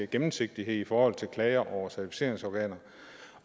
gennemsigtighed i forhold til klager over certificeringsorganer